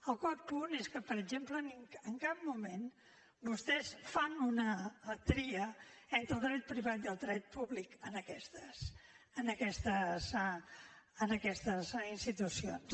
el quart punt és que per exemple en cap moment vostès fan una tria entre el dret privat i el dret públic en aquestes institucions